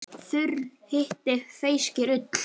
Þurr hiti feyskir ull.